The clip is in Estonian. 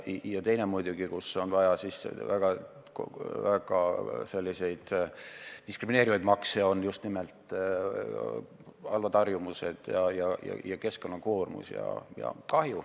Ja teine, kus on vaja väga selliseid diskrimineerivaid makse, on just nimelt halvad harjumused ning keskkonnakoormus ja -kahju.